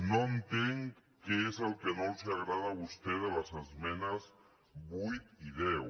no entenc què és el que no els agrada a vostès de les esmenes vuit i deu